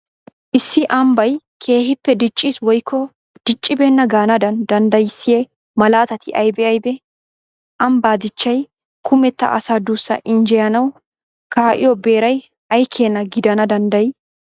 Issi ambbay keehippe diicciis woykko diccibeenna gaanaadan danddayissiya malattati aybee aybee? Ambbaa dichchay kumetta asaa duussaa injjeyanawu kaa'iyo beeray ay keena gidana danddayii?